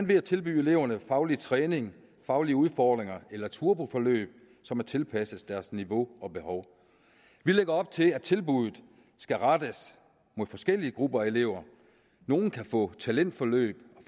ved at tilbyde eleverne faglig træning faglige udfordringer eller turboforløb som er tilpasset deres niveau og behov vi lægger op til at tilbuddet skal rettes mod forskellige grupper af elever nogle kan få talentforløb